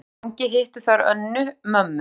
Frammi í gangi hittu þær Önnu, mömmu